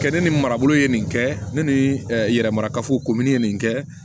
Kɛ ne ni marabolo ye nin kɛ ne ni yɛrɛ marakafo komini ye nin kɛ